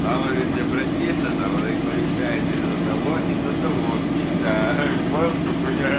там они сё блять тесят а он их порешает и за того и за того всегда ахаха понял в чем хуйня ха